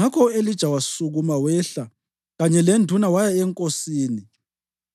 Ngakho u-Elija wasukuma wehla kanye lenduna waya enkosini.